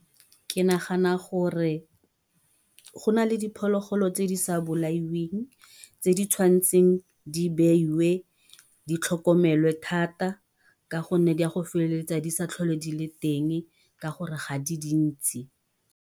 Ke nagana gore go na le diphologolo tse di sa bolaiweng tse di tshwanetseng di beiwe di tlhokomelwe thata. Ka gonne di go feleletsa di sa tlhole di le teng ka gore ga di dintsi.